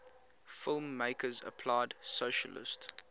filmmakers applied socialist